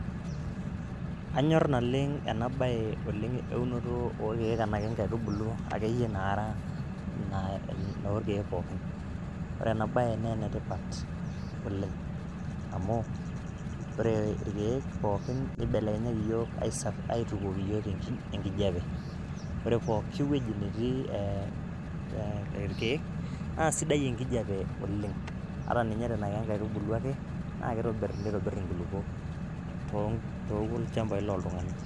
Anyor naleng ena bae eunoto oorkiek enake kengaitubulu akeyie nara , nnaa orkieek pookin . Ore ena bae naa enetipat oleng amu ore irkieek pookin nibelekenyaki iyiook isa, aitukuoki iyiook enkijape . Ore pooki wueji netii ee irkieek naa sidai enkijape oleng , ata ninye nenaa kenkaitubulu ake naa kitobir, nitobir nkulupuok too tolchambai loltunganak.